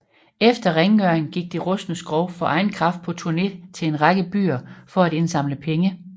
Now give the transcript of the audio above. Efter rengøring gik det rustne skrog for egen kraft på turné til en række byer for at indsamle penge